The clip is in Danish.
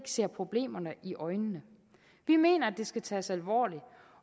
ser problemerne i øjnene vi mener at det skal tages alvorligt